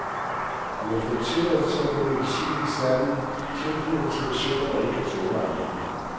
Vi har fået tilladelse til at bruge medicinen i særlige tilfælde til patienter, der ikke kan tåle andre midler.